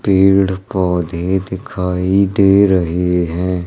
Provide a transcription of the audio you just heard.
पेड़ पौधे दिखाई दे रहे हैं।